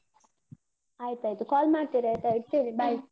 ಆಯ್ತಾಯ್ತು call ಮಾಡ್ತಿರಾಯ್ತಾ ಇಡ್ತೇನೆ bye.